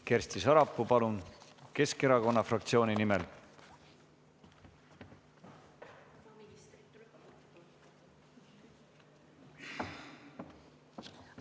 Kersti Sarapuu Keskerakonna fraktsiooni nimel, palun!